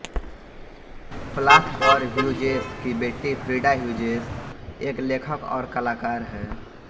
Plath और Hughes की बेटी फ्रीडा ह्यूजेस एक लेखक और कलाकार हैं